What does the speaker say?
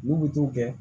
N'u bɛ t'o kɛ